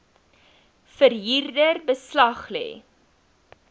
verhuurder beslag lê